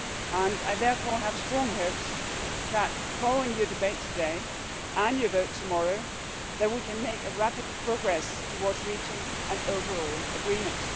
and I therefore have strong hopes that, following your debate today and your vote tomorrow, we can make rapid progress towards reaching an overall agreement.